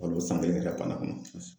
san kelen